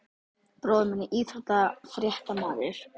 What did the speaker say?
Bróðir minn er íþróttafréttamaður.